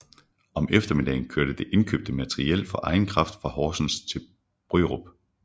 Om eftermiddagen kørte det indkøbte materiel for egen kraft fra Horsens til Bryrup